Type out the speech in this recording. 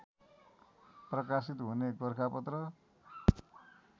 प्रकाशित हुने गोरखापत्र